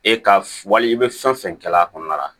E ka wali i bɛ fɛn fɛn kɛla kɔnɔna la